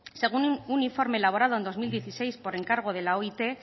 según un informe elaborado en dos mil dieciséis por encargo de la oit